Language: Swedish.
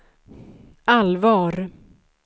allvar